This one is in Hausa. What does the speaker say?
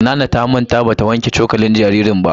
Nana ta manta ba ta wanke cokalin jaririn ba.